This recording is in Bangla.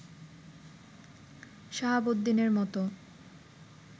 সাহাবউদ্দিনের মত